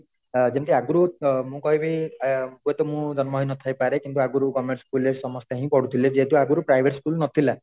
ଯେମିତି ଆଗରୁ ଆ ମୁଁ କହିବି ହୁଏ ତ ମୁଁ ଜନ୍ମ ହେଇ ନଥାଇ ପାରେ କିମ୍ବା ଆଗରୁ government school ରେ ସମସ୍ତେ ହିଁ ପଢୁ ଥିଲେ ଯେହେତୁ ଆଗରୁ private school ନଥିଲା